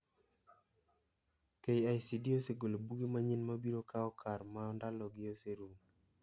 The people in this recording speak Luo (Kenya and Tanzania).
KICD osegolo buge manyien mabiro kao kar ma ndalo gi oserumo.